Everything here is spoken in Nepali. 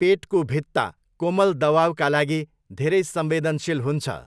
पेटको भित्ता कोमल दबाउका लागि धेरै संवेदनशील हुन्छ।